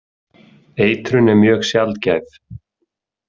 Eitrun er mjög sjaldgæf.